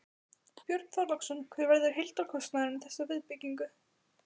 Björn Þorláksson: Hver verður heildarkostnaðurinn við þessa viðbyggingu?